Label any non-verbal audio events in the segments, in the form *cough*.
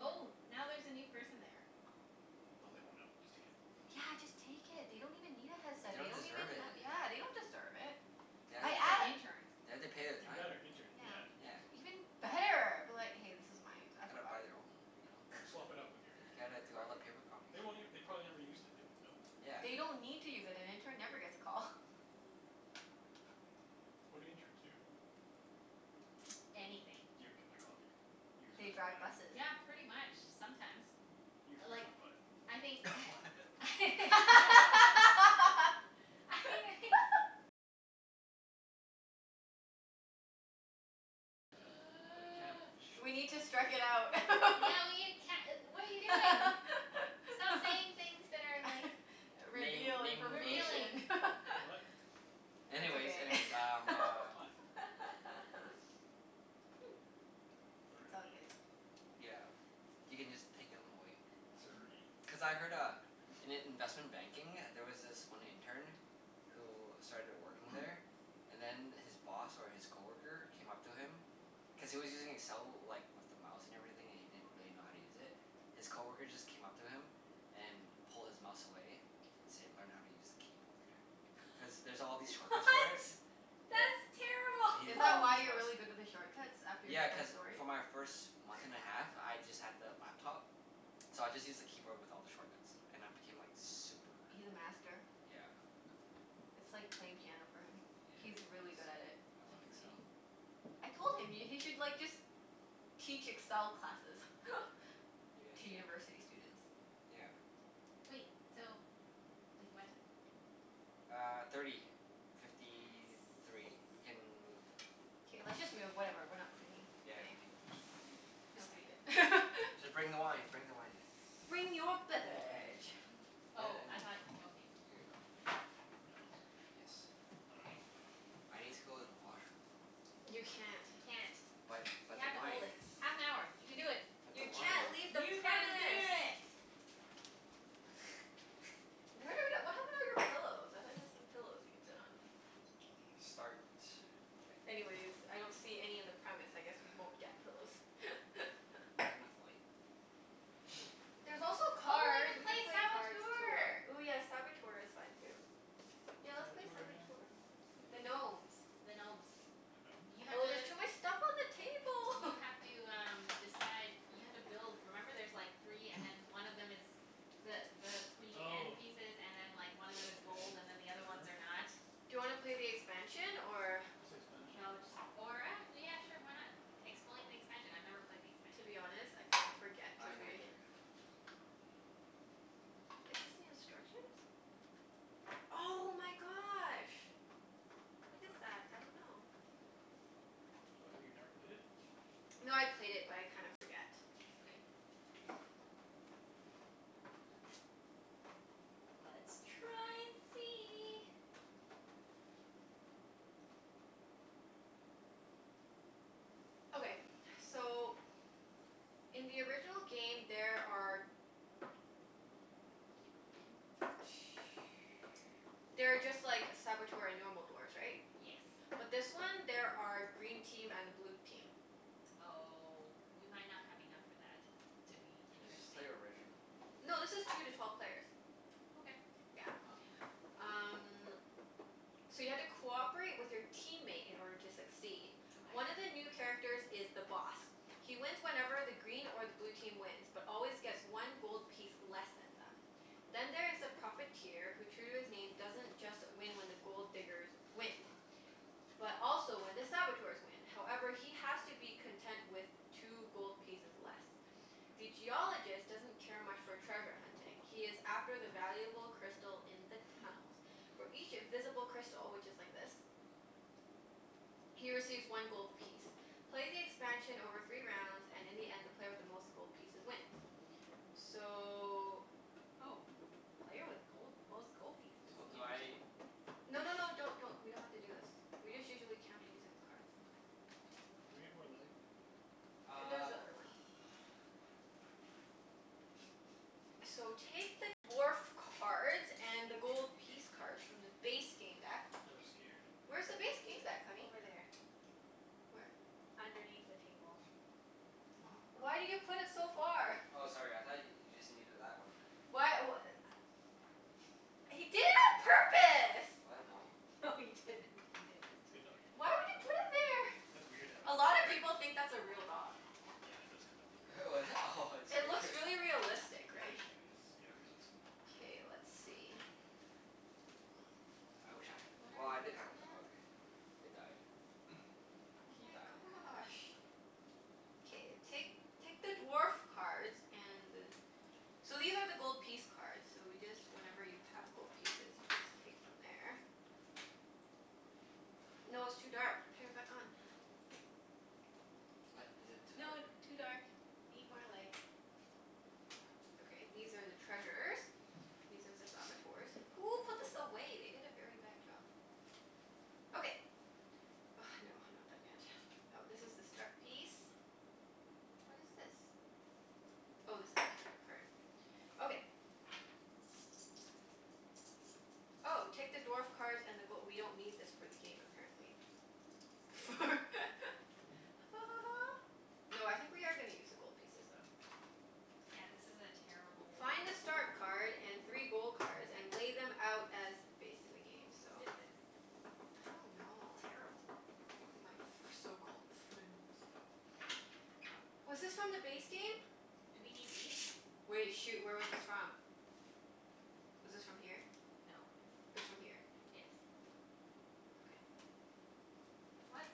Oh, now there's a new person there. Oh. Oh, they won't know. Just take it. Yeah, just take it. They don't even need a headset. They Don't don't even deserve have it. *noise* Yeah, they don't deserve it. They I have I to think it's an a- pa- intern. they have to pay their Even time. better. Intern. Yeah. Yeah, Yeah. interns Even don't better. Be like, "Hey, this is mine. I *noise* Gotta forgot buy it." their own, you know? Just swap it out *laughs* *laughs* with your You your your gotta your do all the crappy one. paper copies They for won't it. ev- they probably never used it. They won't know. Yeah. They don't need to use it. An intern never gets a call. What do interns do? *noise* Anything. You, get my coffee. You, They scratch my drive back. buses. Yeah, pretty much. Sometimes. You, I scratch like my butt. *noise* I think *laughs* What? *laughs* *laughs* I *laughs* The the camp *noise* We need to strike it out. *laughs* Yeah we can't e- what are you doing? What? Stop *laughs* saying things that are like *laughs* Name Reveal naming revealing. information. *inaudible* *laughs* What? It's Anyways, okay. anyways, um *laughs* uh What? *noise* *noise* It's all Burnaby. good. *noise* Yeah. You can just take 'em away. Mhm. Surrey. Cuz I heard uh, in i- investment banking there was this one intern who started *laughs* working there *noise* and then his boss or his coworker came up to him *noise* cuz he was using Excel like, with the mouse and everything, and he didn't really know how to use it. His coworker just came up to him and pulled his mouse away and said, "Learn how to use the keyboard." Cuz there's all *laughs* these shortcuts for it. What? Yeah. That's He did Is it that all terrible. with why a you're mouse. really good with the shortcuts? After you Yeah, heard cuz that story? for my first month and a *laughs* half, *laughs* I just had the laptop. So I just used the keyboard with all the shortcuts. And I *noise* became like super He's a master. Yeah. It's like playing piano for him. Yeah, it He's really good at is. it. I I It's love see. crazy. Excel. I told him, y- he should like just teach Excel classes. *laughs* Maybe I To should. university students. Yeah. Wait, so Wait, what ti- *noise* Uh, thirty fifty three. We Yes. can move. K, let's just move. Whatever, we're not cleaning Yeah, today. leave this sh- Just leave Okay. it. *laughs* Just bring the wine. Mhm. Bring the wine. Bring your Bring the lemon beverage. tea. And Oh, and I then thought, okay. Here you go. And paper towels. Yes. I Okay. Okay. dunno. I need to go to the washroom though. You can't. You can't. But You but the have to hold wine. it. Half an hour. You can do it. But the You can't wine. leave the You can do premise. it. Where the w- d- *laughs* what happened to all your pillows? I thought you had some *noise* pillows we could sit on? Mm, start. Okay. Anyways, I don't see any in the premise. I guess we *noise* won't get pillows. *laughs* There enough light? Nope. *noise* There's also Oh, we cards. can We play could play cards, tour Saboteur! Ooh yeah, Saboteur is fun too. Yeah, What's let's play Saboteur again? Saboteur. Don't The remember it. gnomes. The gnomes. The You gnomes? have Oh, there's to too much stuff on the You table. *laughs* have to um, decide You have to build, remember there's like three and *noise* then one of them is the the *noise* three end Oh. pieces and then like, one of them Okay. is gold *noise* and *noise* then the other ones Sure. are not. Do you wanna play the expansion, or What's the expansion? No, just or ac- yeah sure, why not? Explain the expansion. I've never played the To expansion. be honest, I kinda forget I cuz we neither. Is this the instructions? Oh my gosh. What What's is that? that? I don't know. Oh, have you never played it? No, I played it but I kinda forget. Okay. Let's try and see. Okay. So in the original game there are *noise* there are just like Saboteur and normal dwarfs, right? Yes. But this one there are green team and a blue team. Oh, we might not have enough for that. To be *noise* Let's just interesting. play original. No, this is two to twelve players. Okay. Yeah. Oh. Um So you have to cooperate with your teammate in order to succeed. Okay. One of the new characters is The Boss. He wins whenever the green or the blue team wins but always gets one gold piece less than them. Then there is The Profiteer who, true to his name, doesn't just win when the Gold Diggers win. But also when the Saboteurs win. However, he has to be content with two gold pieces less. The Geologist doesn't care much for treasure hunting. He is after the valuable crystal in the tunnels. For each visible crystal, which is like this. He receives one gold piece. Play the expansion over three rounds, and in the end the player with the most gold pieces wins. So Oh. Player with gold, most gold pieces? So do I Interesting. No push no no, don't don't. We don't have to do this. We just Oh. usually count it using the cards. Okay. Oh, can we get more light? There's Uh the *noise* other one. So, take the dwarf cards and the gold piece cards from the *laughs* base game deck. I was scared. Where's the base game deck, honey? Over there. Where? Underneath the table. Oh, *noise* Why crap. did you put it so far? Oh, sorry. I thought y- you just needed that one. Why w- a- He did it on purpose! What? No. No, he didn't. He didn't. Good doggie. Why would you put it there? That's weird to have a A dog lot of there. people think that's a real dog. Yeah, it does kinda look *laughs* Oh, that? Oh, it It scared looks you. really realistic, right? Position is, yeah, realistic. K, let's see. *noise* I wish I had a, What well, are I these did have a dog. again? It died. *noise* Oh He my died. gosh. K, I see. take take the dwarf cards and the So these are the gold piece cards, so we just, whenever you have gold pieces you just take from there. No, it's too dark. Turn it back on. What? Is it too dark? No, *noise* too dark. Need more light. Okay, these are the treasures. These are ze *noise* Saboteurs. Who put this away? They did a very bad job. Okay. Oh, no, I'm not done yet. Oh, this is the start piece. What is this? Oh, this is character card. Okay. Oh, take the dwarf cards and the go- we don't need this for the game, apparently. For *laughs* Ha ha ha. No, I think we are gonna use the gold pieces though. Yeah, this is a terrible Find a start card and three gold cards and *inaudible* lay them out as based in the game. Who So who did this? I don't know, I Terrible. My f- my so-called friends. Okay. Was this from the base game? Do we need these? Wait. Shoot, where was this from? *noise* Was this from here? No. It was from here. Yes. Okay. What?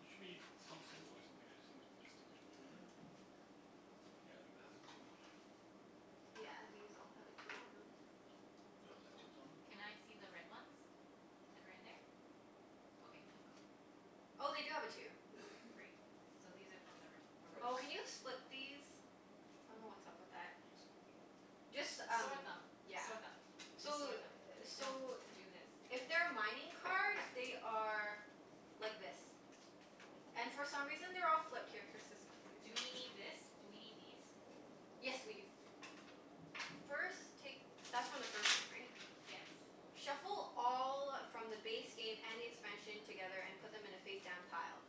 There should be some symbol or something to distinguish distinguish between them. Yeah, like that has a two on it. Yeah, these all have a two on them. Do those Those have don't? twos on them? Can I see the red ones? That are in there? Okay. No, go. Oh, they do have a two. Okay, great. So these are from the re- Oh, original. can you First. split these? I dunno what's up with that. What do you mean, split them? Just S- um, sort them. yeah. Sort Oh. them. Just So sort them. *noise* No, so do this. If they're mining cards, they are like this. And Oh. for some reason they're all flipped. Here, fix this one too. Do we need this? Do we need these? Yes, we do. First, take That's from the first game, right? Yes. Shuffle all from the base game and the expansion together, and put them in a face-down pile.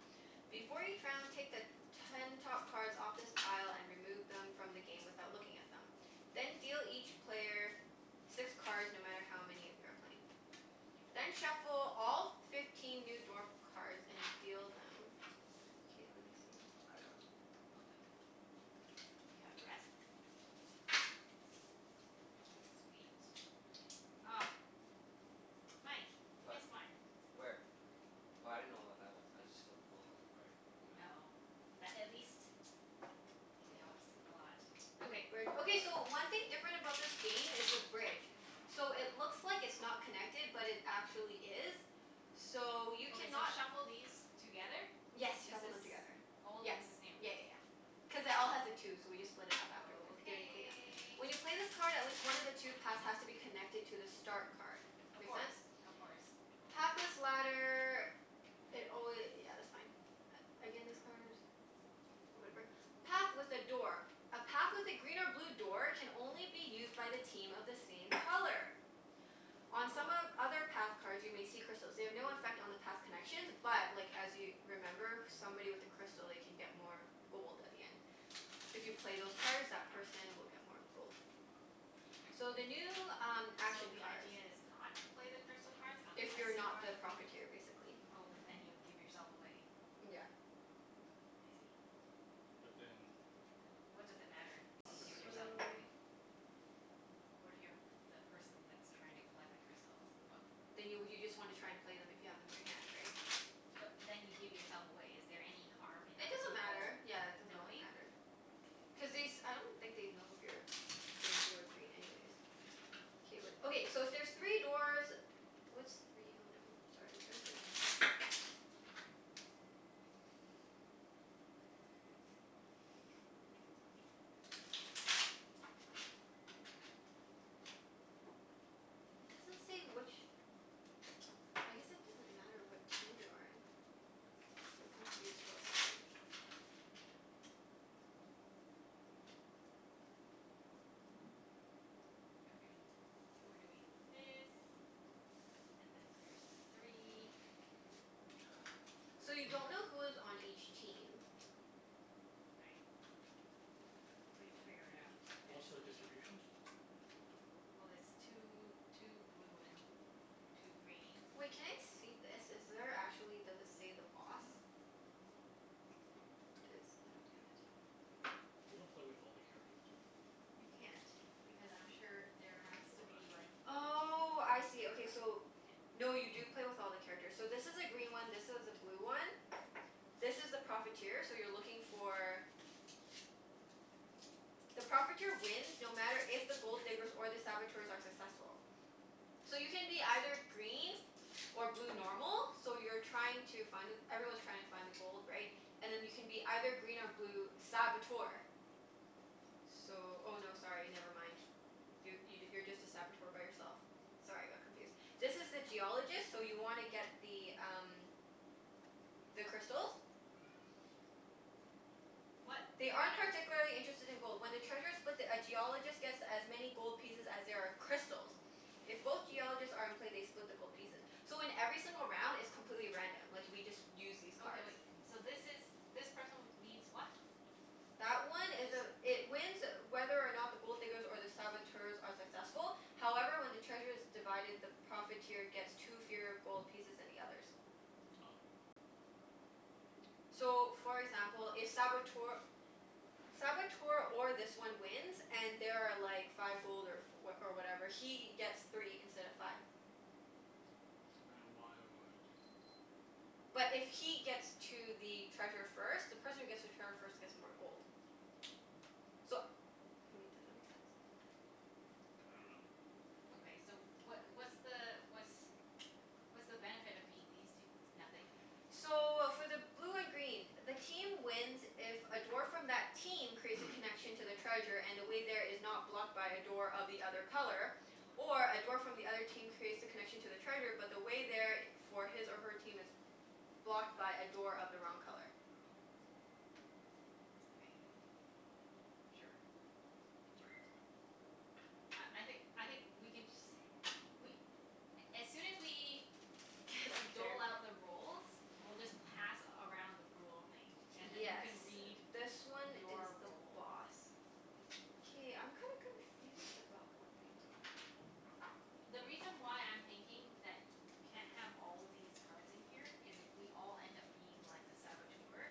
Before each round, take the ten top cards off this pile and remove them from the game without looking at them. Then deal each player six cards, no matter how many of you are playing. Then shuffle all f- fifteen new dwarf cards and deal them. K, let me see. I got them. Okay. Do you have the rest? Sweet. Ah. Mike. You What? missed one. Where? Oh, I didn't know what that was. I just flipped them all in the right, you know? Oh. That at least *noise* it Yeah. helps a lot. Ooh, Yeah, Okay. bridge. don't worry Okay, so about it. one thing different about this game is the bridge. So, it looks like it's not connected but it actually is. So, you Okay, so cannot shuffle these together? Yes, This shuffle them is together. old Yep. and this is Yeah new. yeah yeah. Cuz it all has a two, so we just split it up afterward during clean-up. Okay. When you play this card at least one of the two paths has to be connected to the start card. Of Make course. sense? Of course. Pathless ladder It alwa- yeah, that's fine. A- again, this card Whatever. Path with a door. A path with a green or blue door can only be used by the team of the same color. On some of Oh. other path cards you may see crystals. They have no affect on the path connections but like, as you remember somebody with a crystal, they can get more gold at the end. If you play those cards that person will get more gold. So, the new um So action the cards. idea is not to play the crystal cards unless If you you're not are the the pr- Profiteer, basically. Oh, but then you give yourself away. Yeah. I see. But then how What does it matter if you does it give affect other yourself people? So away? What if you're a p- the person that's trying to collect the crystals? *noise* What Then you w- you just wanna try and play them if you have them in your hand, right? But then you give yourself away. Is there any harm in It other doesn't people matter. Yeah, it doesn't really knowing? matter. *noise* Cuz they s- I don't think they'd know if you're being blue or green anyways. K, wait. Okay, so if there's three dwarfs What's three oh, nevermi- Sorry, I'm trying to figure out *noise* Jaw jaw jaw. It doesn't say which I guess it doesn't matter what team you're in. I'm confused about something. Okay. So, we're doing this and then there's the three. So, you don't know *noise* who is on each team. Okay. But you'll figure it out What's the eventually. distribution? Well it's two two blue and two green. Wait, can I see this? Is there actually, does it say the Boss? This, I don't get it. We don't play with all the characters, do we? You can't. Because I'm sure there There's only has four to of us. be like Oh, I see. Okay, so No, you do *noise* play with all the characters. So this is a green one, this is a blue one. This is the Profiteer, so you're looking for The Profiteer wins no matter if the Gold Diggers or the Saboteurs are *inaudible* successful. So you can be either green or blue normal. So you're trying to find the, everyone's trying to find the gold, right? And then you can be either green or blue Saboteur. So, oh no, sorry, never mind. You y- you're just a Saboteur by yourself. Sorry, I got confused. This is the Geologist, so you wanna get the um the crystals. What? *noise* They They are aren't no particularly interested in gold. When the treasure's split, the a Geologist gets as many gold pieces as there are crystals. If both Geologists are in play, they split the gold pieces. *noise* So, in every single round it's completely random. Like, we just use these cards. Okay, wait. So this is, this person needs what? That one It, is a this It wins whether or not the Gold Diggers or the Saboteurs are successful. However, when the treasure's divided, the Profiteer gets two fewer gold pieces than the others. Ah. *noise* So, for example, if Saboteur Saboteur or this one wins and there are like five gold or f- oh or whatever he gets three instead of five. So, then why would oh, I But don't know. if he gets to the treasure first The person who gets to trevor first gets more gold. So wait, does that make sense? I dunno. Okay, so what what's the what's what's the benefit of being these two? Nothing? *noise* So, for the blue and green the team wins if a dwarf from that team creates a *noise* connection to the treasure and the way there is not blocked by a door of the other color. Or a dwarf from the other team creates the connection to the treasure but the way there i- for his or her team is blocked by a door of the wrong color. Okay. Sure. Uh, I think I think we can just we *noise* as soon as we dole out *inaudible* the roles we'll just pass around the rule thing. And then you Yes, can read this one is your the role. Boss. K, I'm kinda confused about one thing though. *noise* The reason why I'm thinking that you c- can't have all these cards in here is if we all end up being like, the Saboteur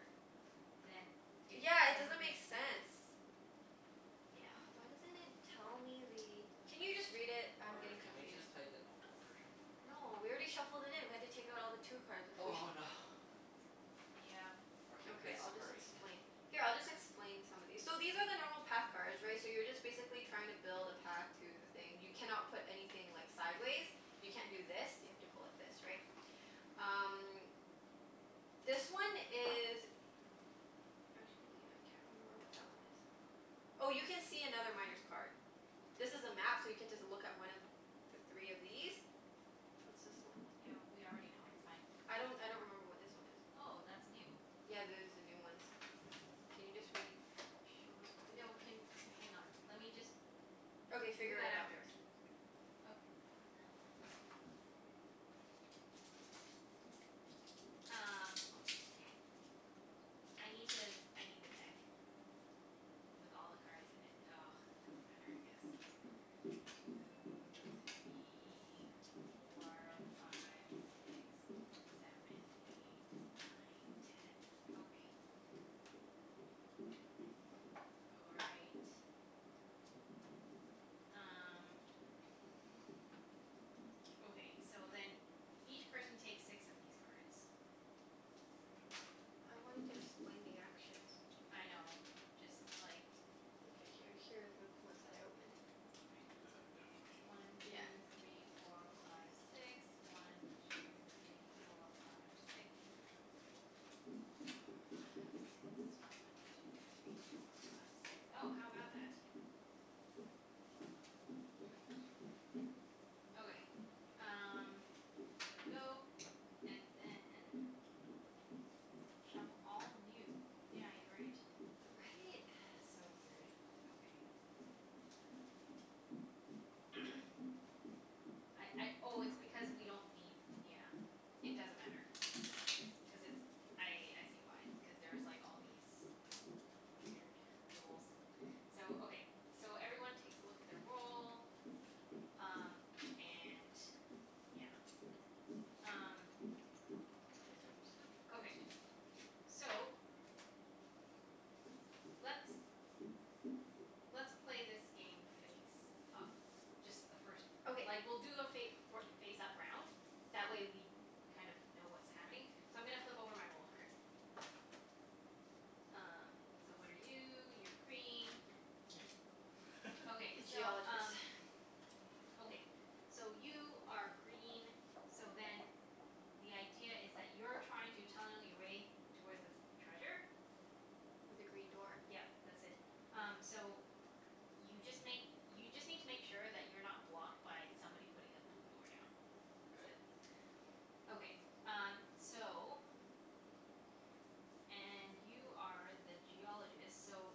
then it Yeah, it doesn't doesn't make make sense. sense. Yeah. Oh, why doesn't it tell me the Can you just read it? I'm Or getting can we confused. just play the normal version? No, we already shuffled it in. We have to take out all the two cards if we Oh no. Yep. Or can we Okay, play I'll just submarine? explain Here, I'll just explain some of these. So, these are the normal path cards right? So you're just basically trying to build a path to the thing. You cannot put anything like, sideways. You can't do this. You have to go like this, right? *noise* Um this one is Actually, I can't remember what that one is. Oh, you can see another Miner's card. This is a map so you get to z- look at one of the three of these. What's this one? Yeah, we already know. That's fine. I don't I don't remember what this one is. Oh, that's new. Yeah, there's the new ones. Can you just read Show us what the new No, ones can, hang on. Let me just Okay, We'll do figure that it out after. first. Oka- *noise* Um, h- I need to, I need the deck. With all the cards in it. *noise* Doesn't matter I guess. Two three four five six seven eight nine ten. Okay. All right. Um Okay, so then *noise* each person takes six of these cards. I wanted to explain the actions. I know. Just like Okay. Here here are the ones that I opened. Okay. We'll just have a demo *noise* game. One Yeah. two three four five six. One two three four five six. One two three four five six. One two three four five six. Oh, how about that? Nice. Okay, *noise* um there we go. And then shuffle all new, yeah, you're right. Right? It's *noise* so weird. Okay. *noise* I I oh, it's because we don't need, yeah. It doesn't matter. Cuz it's, I I see why. Because there's like, all *noise* these weird rules. So, okay. So, everyone takes a look at their role. Um, and yeah. Um Hope these are sample cards Okay. too. So let's *noise* let's play this game face up. Just the first Okay. Like we'll do a fa- for face up round. That way we kind of know what's happening. So, I'm gonna flip over my role card. Um, so what are you? You're green. Yay. Okay, *laughs* so Geologist. um Okay. *noise* So, you are green, so then the idea is that you're trying to tunnel your way towards this treasure. With a green door. Yep. That's it. Um, so y- you just make, you just need to make sure that you're not blocked by somebody putting a blue door down. *noise* That's K. it. Okay. Um, so and you are the Geologist, so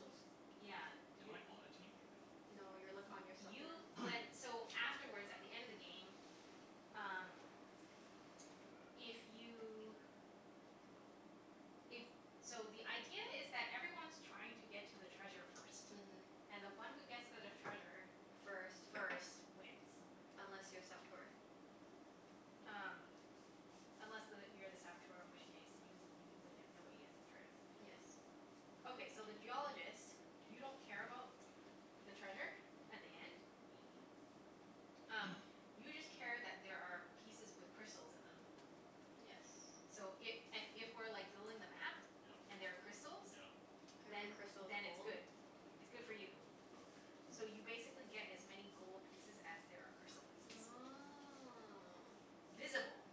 Y- yeah. Am I You're u- on a team, or no? No, you're like on your Y- you *inaudible* went, *noise* so afterwards, at the end of the game Um if you If, *noise* so the idea is that everyone's trying to get to the treasure first. Mhm. And the one who gets to the treasure First. first wins. Unless you're a Saboteur. *noise* Um Unless the, you're the Saboteur in which case you you win if nobody gets the treasure. Yes. Okay, so the Geologist you don't care about the treasure at the end. Mhm. Um, *noise* you just care that there are pieces with crystals in them. Yes. So i- a- if we're like building the map Yep. and there are crystals Yep. Every then Yep. crystal is then it's gold. good. It's Okay. good for you. Okay. So you basically get as many gold pieces as there are crystal pieces. Oh. Visible.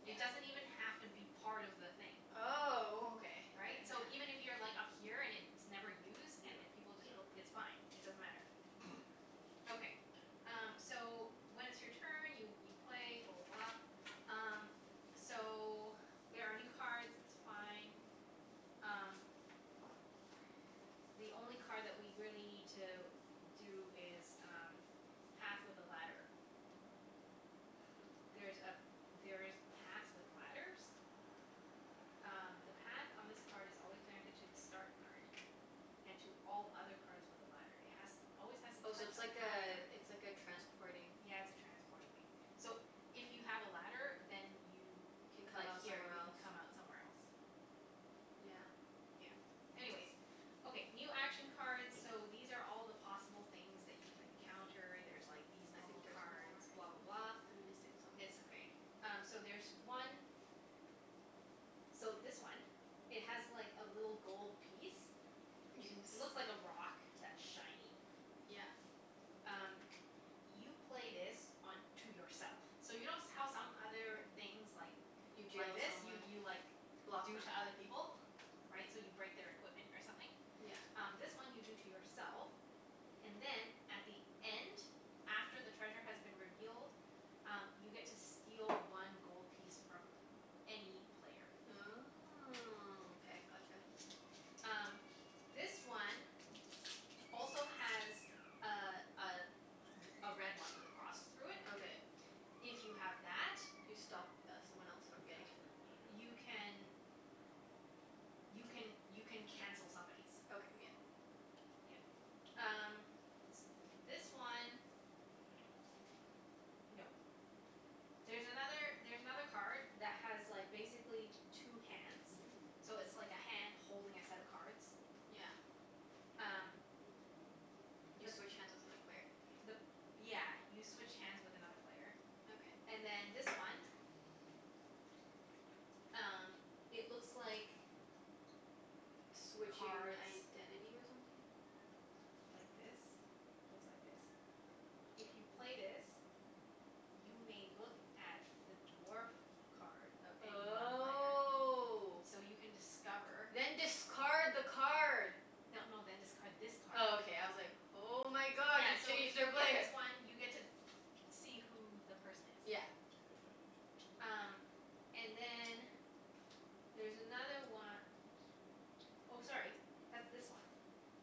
Yeah. It doesn't even have to be part of the thing. Oh, okay okay, Right? So yeah. even if you're like up here and it's never used Yeah. and if people Yeah, just built, yeah. it's fine. It doesn't matter. *noise* Okay. Um, so when it's your turn, you you play, blah blah blah. Um, so there are new cards. It's fine. Um the only card that we really need to do is um path with a ladder. There's a, there's paths with ladders. Um, the path on this card is always connected to the start card. And to all other cards with a ladder. It has always has to Oh, so touch it's a path like a, card. it's like a transporting Yeah, it's a transporting thing. So, if you have a ladder then you Can if come like, out here, somewhere you can else. come out somewhere else. Yeah. Yeah. *noise* Anyways Okay, new action cards So, these are all the possible things that you can encounter. There's like these I think normal there's cards. more. Blah blah blah. I'm missing some. It's okay. Um, so there's one So, this one it has like, a little gold piece. You can s- Looks like a rock that's shiny. Yeah. Um, you play this on to yourself. So you know s- how some other things like *noise* You like deal to this? You someone. you like Block them. do to other people? Right? So you break their *noise* equipment or something? Yeah. Um, this one you do to yourself. And then at the end after the treasure has been revealed um, you get to steal one gold piece from any player. *noise* Oh, okay. *noise* Gotcha. Um, this one also has a a r- a red one with a cross through it. Okay. If you have that You stop th- someone else from You getting cancel it. it, I you guess. can you can, you can cancel somebody's. Okay, yeah. Yeah. Um S- this one No. *noise* There's another, there's another card that has like, basically two hands. So it's like a hand holding a set of cards. Yeah. Um *noise* You The switch hands with other player. the p- yeah, you switch hands with another player. Okay. And then this one Um, it looks like *noise* Switch cards your identity or something? like this. Looks like this. If you Mkay. play this you may look at the dwarf *noise* card of any one player. Oh. So you can *noise* discover Then discard the card! No no, then discard this Oh, card. okay. I was like Oh my god, Yeah, so if you play *inaudible* this one you get to see who the person *noise* is. Yeah. Okay. Um, and then there's another one *noise* Oh, sorry. That's this one. *noise*